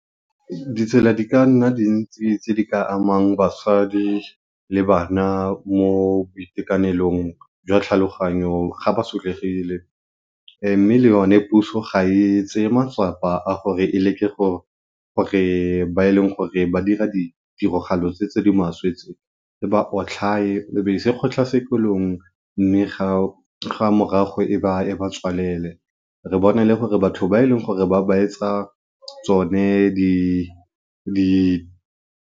Ditsela di ka nna dintsi tse di ka amang bagadi le bana mo boitekanelong jwa tlhaloganyo ga ba sotlegile. Mme e yone puso ga e tseye matsapa a gore e leke gore ba e leng gore ba dira ditiragalo tse di maswe re ba otlhaye, re ba ise kgotlhatshekelong, mme ga, ga morago e ba tswalele. Re bone le gore batho ba e leng gore ba ba etsa tsone di di.